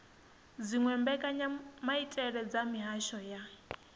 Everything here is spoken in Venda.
dziwe mbekanyamaitele dza mihasho ya